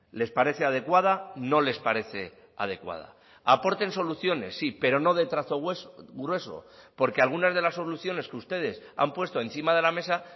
les parece adecuada no les parece adecuada aporten soluciones sí pero no de trazo grueso porque algunas de las soluciones que ustedes han puesto encima de la mesa